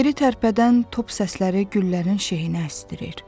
Yeri tərpədən top səsləri güllərin şeynə əsdirir.